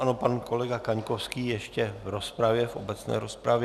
Ano, pan kolega Kaňkovský ještě v rozpravě, v obecné rozpravě.